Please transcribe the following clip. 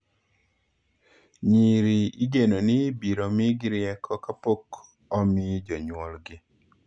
Nyiri igeno ni ibiro migi rieko kapok omi jonyuolgi.